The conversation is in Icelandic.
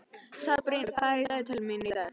Sabrína, hvað er í dagatalinu mínu í dag?